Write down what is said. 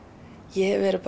ég hef verið